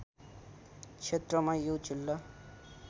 क्षेत्रमा यो जिल्ला